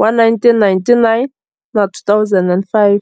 wa 1999 na 2005.